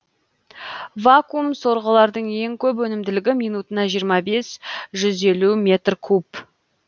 вакуум сорғылардың ең көп өнімділігі минутына жиырма бес жүз елу метр куб